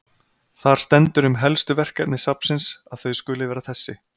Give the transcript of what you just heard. Þar stendur um helstu verkefni safnsins að þau skuli vera þessi